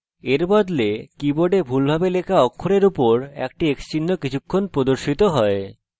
এর বদলে keyboard ভুলভাবে লেখা অক্ষরের উপর একটি x চিহ্ন কিছুক্ষণ প্রদর্শিত হয়